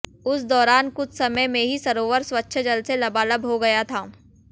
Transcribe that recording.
उस दौरान कुछ समय में ही सरोवर स्वच्छ जल से लबालब हो गया था